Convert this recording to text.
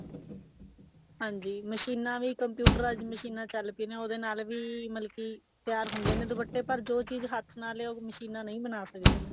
ਹਾਂਜੀ ਮਸ਼ੀਨਾ ਵੀ computerized ਮਸ਼ੀਨਾ ਚੱਲ ਪਈਆਂ ਉਹਦੇ ਨਾਲ ਵੀ ਮਤਲਬ ਕੇ ਤਿਆਰ ਹੁੰਦੇ ਨੇ ਦੁਪੱਟੇ ਪਰ ਜੋ ਚੀਜ਼ ਹੱਥ ਨਾਲ ਹੈ ਉਹ ਮਸ਼ੀਨਾ ਨਹੀਂ ਬਣਾ ਸਕਦੀਆਂ